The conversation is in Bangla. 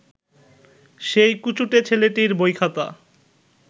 সেই কুচুটে ছেলেটির বইখাতা